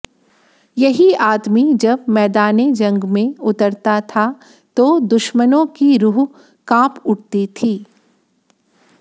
यही आदमी जब मैदाने जंग में उतरता था तो दुश्मनों की रूह कांप उठती थी